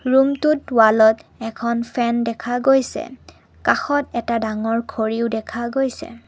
ৰুমটোত ৱালত এখন ফেন দেখা গৈছে কাষত এটা ডাঙৰ ঘড়ীও দেখা গৈছে।